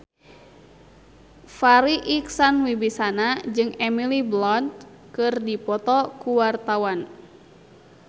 Farri Icksan Wibisana jeung Emily Blunt keur dipoto ku wartawan